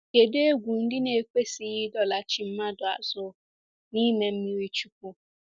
Kedụ egwu ndị na-ekwesịghị ịdọlachi mmadụ azụ n’ime mmiri chukwu?